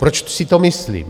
Proč si to myslím?